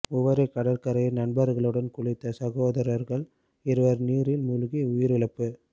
உவரி கடற்கரையில் நண்பர்களுடன் குளித்த சகோதரர்கள் இருவர் நீரில் மூழ்கி உயிரிழப்பு